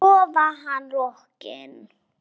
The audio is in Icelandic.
Svo var hann rokinn.